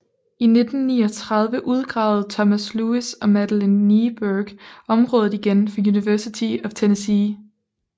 I 1939 udgravede Thomas Lewis og Madeline Kneeburg området igen for University of Tennessee